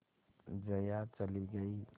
जया चली गई